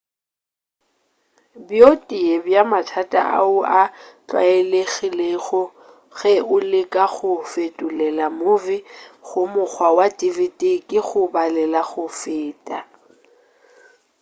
bjo tee bja mathata ao a tlwaelegilego ge o leka go fetolela movie go mokgwa wa dvd ke go balela go feta